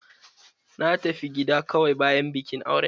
Na tafi gida kawai bayan bikin auren